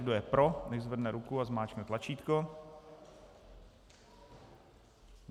Kdo je pro, nechť zvedne ruku a zmáčkne tlačítko.